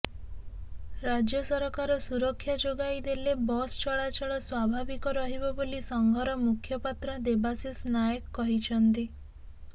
ରାଜ୍ୟ ସରକାର ସୁରକ୍ଷା ଯୋଗାଇ ଦେଲେ ବସଚଳାଚଳ ସ୍ବାଭାବିକ ରହିବ ବୋଲି ସଂଘର ମୁଖପାତ୍ର ଦେବାଶିଷ ନାୟକ କହିଛନ୍ତି